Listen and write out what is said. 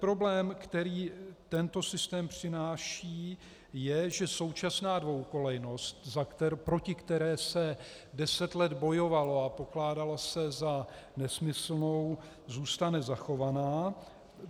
Problém, který tento systém přináší, je, že současná dvojkolejnost, proti které se deset let bojovalo a pokládala se za nesmyslnou, zůstane zachovaná.